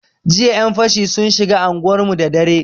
Jiya yan fashi sun shiga anguwarmu da dare.